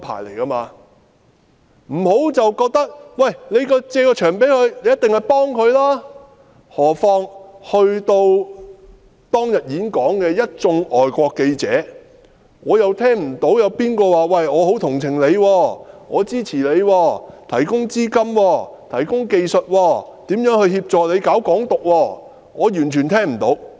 不要認為機構借出場地，便是幫助使用者，何況在當天演講場地的一眾外國記者，我完全聽不到他們表示很同情、支持陳浩天，提供資金、技術協助他宣揚"港獨"。